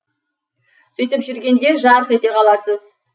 сөйтіп жүргенде жарқ ете қаласыз